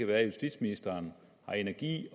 være justitsministeren har energi